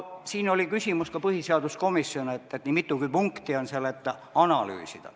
Siin oli küsimus ka põhiseaduskomisjonis, et miks seal on nii mitugi punkti, kus on öeldud, et tuleb analüüsida.